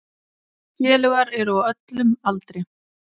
Félagar eru á öllum aldri.